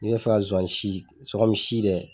I bɛ fɛ ka zonzannin si komi si dɛ